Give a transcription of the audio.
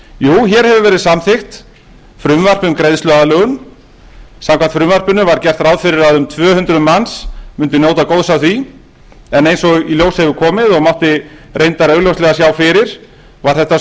hér hefur verið samþykkt frumvarp um greiðsluaðlögun samkvæmt frumvarpinu var gert ráð fyrir að um tvö hundruð manns mundu njóta góðs af því en eins og í ljós hefur komið og mátti reyndar augljóslega sjá fyrir var þetta